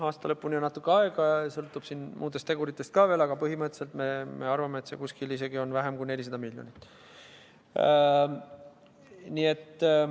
Aasta lõpuni on natuke aega ja see sõltub siin muudest teguritest ka, aga põhimõtteliselt me arvame, et vähenemine on isegi väiksem kui 400 miljonit.